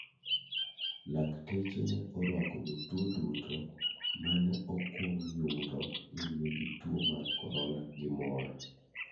Lakteche ne orwako jotuo duto ma ne okwong yudo ni nigi tuo mar corona gi mor.